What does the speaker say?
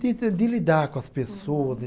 De de lidar com as pessoas.